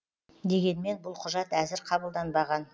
дегенмен бұл құжат әзір қабылданбаған